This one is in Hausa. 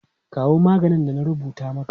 Kawo maganin da na rubuta maka!